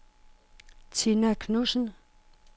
Tina Knudsen